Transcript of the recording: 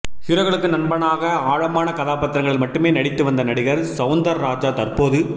ஹீரோக்களுக்கு நண்பனாக ஆழமான கதாபாத்திரங்களில் மட்டுமே நடித்து வந்த நடிகர் சௌந்தராஜா தற்போது